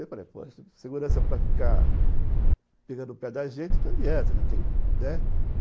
Eu falei, pô, segurança para ficar pegando no pé da gente, não adianta, né.